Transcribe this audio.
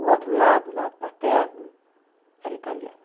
O outro lado, o lado paterno, era italiano.